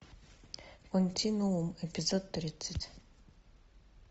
континуум эпизод тридцать